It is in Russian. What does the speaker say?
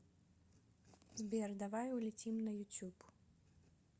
сбер давай улетим на ютюб